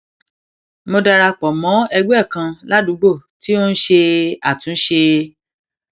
mo dara pò mó ẹgbé kan ládùúgbò tí ó ń ṣe àtúnṣe